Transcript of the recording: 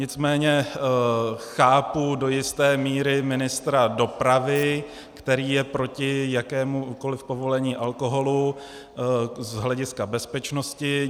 Nicméně chápu do jisté míry ministra dopravy, který je proti jakémukoliv povolení alkoholu z hlediska bezpečnosti.